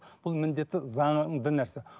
бұл міндетті заңды нәрсе